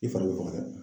I fari bɛ faga dɛ